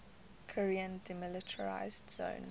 korean demilitarized zone